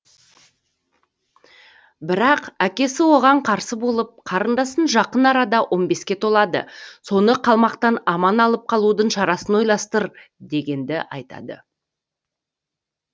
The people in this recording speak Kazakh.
бірақ әкесі оған қарсы болып қарындасың жақын арада он беске толады соны қалмақтан аман алып қалудың шарасын ойластыр дегенді айтады